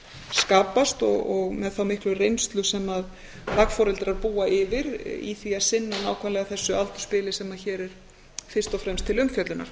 skapast og með þá miklu reynslu sem dagforeldrar búa yfir í því að sinna nákvæmlega þessu aldursbili sem hér er fyrst og fremst til umfjöllunar